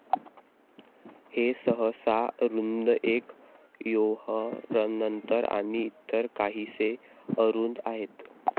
हे सहसा रुंद एक ओव्हरनंतर आणि इतर काहीसे अरूंद आहेत.